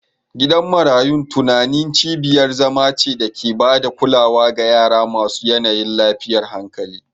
Gidan marayun tunani cibiyar zama ce da ke ba da kulawa ga yara masu yanayin lafiyar hankali